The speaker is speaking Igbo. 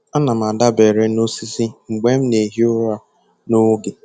Ana m adabere n'osisi mgbe m na-ehi ụra nwa oge.